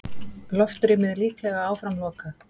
Loftrýmið líklega áfram lokað